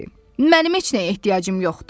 Mənim heç nəyə ehtiyacım yoxdur.